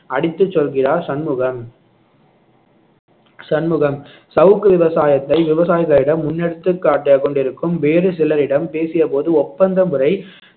அடித்துச் சொல்கிறார் சண்முகம் சண்முகம் சவுக்கு விவசாயத்தை விவசாயிகளிடம் முன்னெடுத்துக் காட்டிக் கொண்டிருக்கும் வேறு சிலரிடம் பேசிய போது ஒப்பந்த முறை